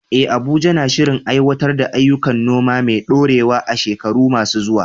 Eh, Abuja na shirin aiwatar da ayyukan noma mai ɗorewa a shekaru masu zuwa.